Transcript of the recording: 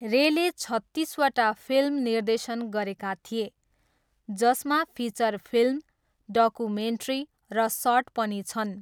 रेले छत्तिसवटा फिल्म निर्देशन गरेका थिए, जसमा फिचर फिल्म, डकुमेन्ट्री र सर्ट पनि छन्।